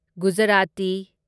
Gujarati